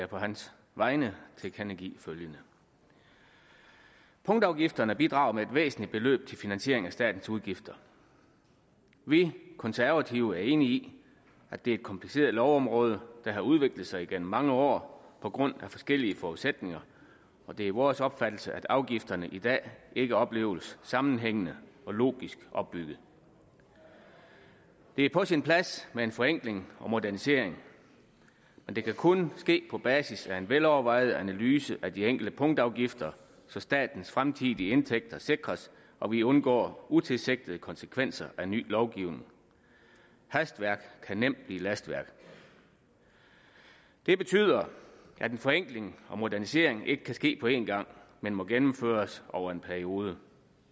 på hans vegne tilkendegive følgende punktafgifterne bidrager med et væsentligt beløb til finansiering af statens udgifter vi konservative er enige i at det er et kompliceret lovområde der har udviklet sig igennem mange år på grund af forskellige forudsætninger og det er vores opfattelse at afgifterne i dag ikke opleves sammenhængende og logisk opbyggede det er på sin plads med en forenkling og modernisering og det kan kun ske på basis af en velovervejet analyse af de enkelte punktafgifter så statens fremtidige indtægter sikres og vi undgår utilsigtede konsekvenser af ny lovgivning hastværk kan nemt blive lastværk det betyder at den forenkling og modernisering ikke kan ske på en gang men må gennemføres over en periode